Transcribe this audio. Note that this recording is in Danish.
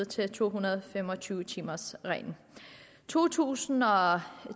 til to hundrede og fem og tyve timers reglen to tusind og